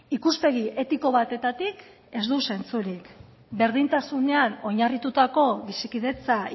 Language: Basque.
ikuspegi etiko batetik ez du zentzurik berdintasunean oinarritutako bizikidetza